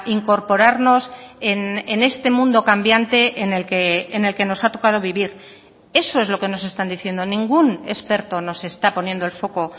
incorporarnos en este mundo cambiante en el que nos ha tocado vivir eso es lo que nos están diciendo ningún experto nos está poniendo el foco